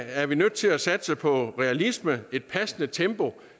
er vi nødt til at satse på realisme et passende tempo